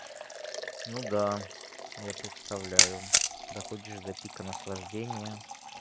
ну да я представляю доходишь до пика наслаждения